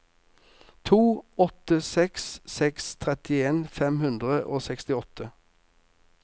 to åtte seks seks trettien fem hundre og sekstiåtte